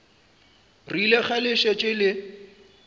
rile ge le šetše le